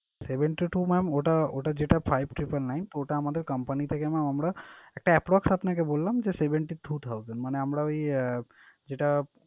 Seventy two mam ওটা ওটা যেটা five triple nine ওটা আমাদের company থেকে mam আমরা একটা approx আপনাকে বললাম যে seventy two thousand মানে আমরা ওই আহ যেটা,